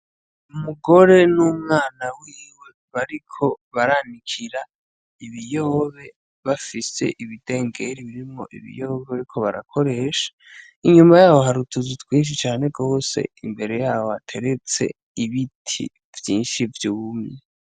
Umugore n'umwana wiwe bariko baranikira ibiyobe. Bafise ibidengeri birimwo ibiyoba barimwo barakoresha. Inyuma yaho hari utuzu twinshi cane gose. Imbere yaho hateretse ibiti vyinshi vyumye.